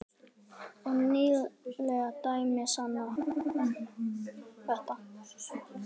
Og nýleg dæmi sanna þetta.